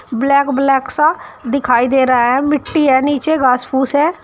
Black black सा दिखाई दे रहा है मिट्टी है नीचे घास फूस है।